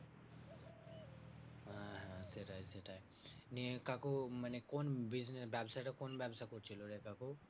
হ্যাঁ হ্যাঁ সেটাই সেটাই। নিয়ে কাকু মানে কোন business ব্যাবসাটা কোন ব্যবসা করছিলো রে কাকু?